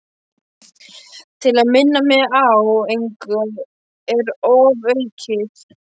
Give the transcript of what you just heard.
Til að minna mig á að engu er ofaukið.